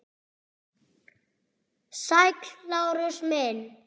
Sæll, Lárus minn.